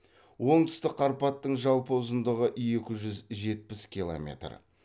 оңтүстік қарпаттың жалпы ұзындығы екі жүз жетпіс километр